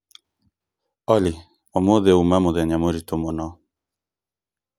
Olly ũmũthĩ ũũma mũthenya mũritũ mũno